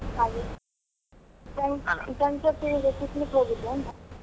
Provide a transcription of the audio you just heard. ಹಾಗೆ friends ಜೊತೆ picnic ಹೋಗಿದ್ದೆ ಅಂದೆ .